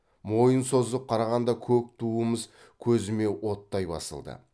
мойын созып қарағанда көк туымыз көзіме оттай басылды